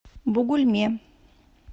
бугульме